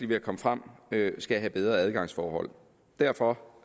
ved at komme frem skal have bedre adgangsforhold derfor